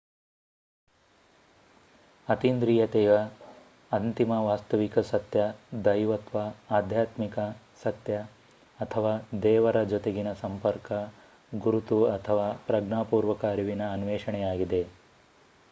ಅತೀಂದ್ರಿಯತೆಯು ಅಂತಿಮ ವಾಸ್ತವಿಕ ಸತ್ಯ ದೈವತ್ವ ಆಧ್ಯಾತ್ಮಿಕ ಸತ್ಯ ಅಥವಾ ದೇವರ ಜೊತೆಗಿನ ಸಂಪರ್ಕ ಗುರುತು ಅಥವಾ ಪ್ರಜ್ಞಾಪೂರ್ವಕ ಅರಿವಿನ ಅನ್ವೇಷಣೆಯಾಗಿದೆ